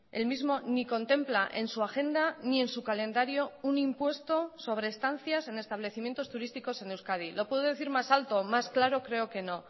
el mismo ni contempla en su agenda ni en su calendario un impuesto sobre estancias en establecimientos turísticos en euskadi lo puedo decir más alto más claro creo que no